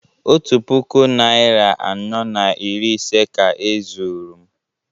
Otu puku naịra anọ na iri ise ka e zuru m